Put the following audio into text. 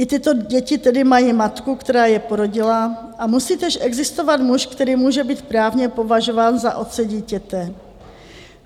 I tyto děti tedy mají matku, která je porodila, a musí též existovat muž, který může být právně považován za otce dítěte.